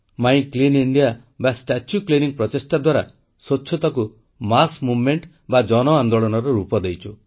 ମାଇଁ clean India ବା statue cleaning ପ୍ରଚେଷ୍ଟା ଦ୍ୱାରା ସ୍ୱଚ୍ଛତାକୁ ଗଣ ଆନ୍ଦୋଳନର ରୂପ ଦେଇଛୁ